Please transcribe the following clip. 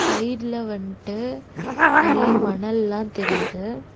சைட்ல வன்ட்டு நெறைய மணல்லாந் தெரியிது.